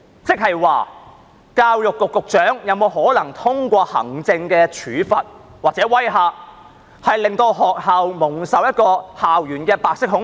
即是說，教育局局長是否有可能通過行政處罰或威嚇，令學校蒙受白色恐怖？